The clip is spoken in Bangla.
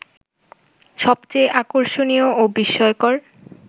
সবচেয়ে আকর্ষণীয় ও বিস্ময়কর